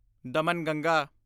Damanganga